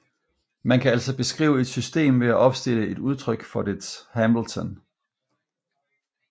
Man kan altså beskrive et system ved at opstille et udtryk for dets Hamilton